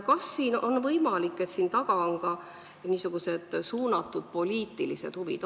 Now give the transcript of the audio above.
Kas on võimalik, et siin taga on ka suunatud poliitilised huvid?